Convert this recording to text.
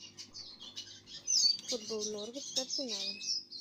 футбол норвич с арсеналом